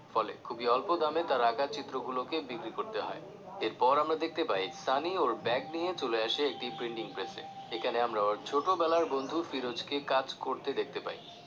ফলে খুবই অল্প দামে তার আঁকা চিত্র গুলোকে বিক্রি করতে হয় এরপর আমরা দেখতে পাই সানি ওর ব্যাগ নিয়ে চলে আসে একটি printing press এ এখানে আমরা ওর ছোট বেলার বন্ধু ফিরোজকে কাজ করতে দেখতে পাই।